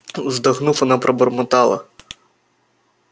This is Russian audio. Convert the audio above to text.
вздохнув она пробормотала